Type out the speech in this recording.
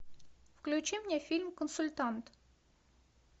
включи мне фильм консультант